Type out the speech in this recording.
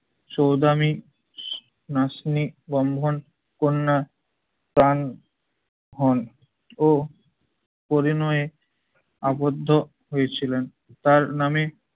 চোদামি নাসনি বন্ধন কন্যা প্রাণ হন ও পরিণয়ে আবদ্ধ হয়েছিলেন। তার নামে